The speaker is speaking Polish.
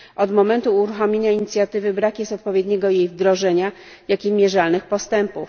Od momentu uruchomienia inicjatywy brak jest odpowiedniego jej wdrożenia, jak i mierzalnych postępów.